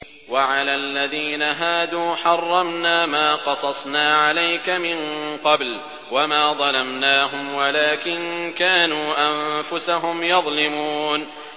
وَعَلَى الَّذِينَ هَادُوا حَرَّمْنَا مَا قَصَصْنَا عَلَيْكَ مِن قَبْلُ ۖ وَمَا ظَلَمْنَاهُمْ وَلَٰكِن كَانُوا أَنفُسَهُمْ يَظْلِمُونَ